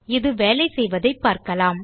அது வேலை செய்வதைப் பார்க்கலாம்